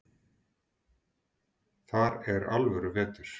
Þar er alvöru vetur.